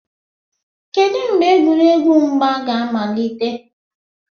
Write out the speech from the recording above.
kedu mgbe egwuregwu mgba ga amalite